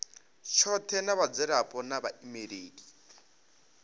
tshothe na vhadzulapo na vhaimeleli